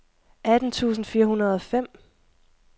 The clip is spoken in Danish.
atten tusind fire hundrede og fem